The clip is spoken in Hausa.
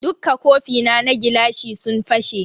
Dukka kofina na gilashi sun fashe.